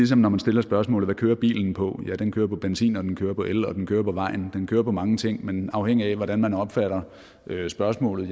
som når man stiller spørgsmålet hvad bilen kører på ja den kører på benzin den kører på el og den kører på vejen den kører på mange ting men afhængig af hvordan man opfatter spørgsmålet